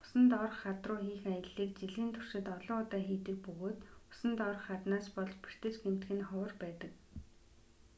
усан доорх хад руу хийх аяллыг жилийн туршид олон удаа хийдэг бөгөөд усан доорх хаднаас болж бэртэж гэмтэх нь ховор байдаг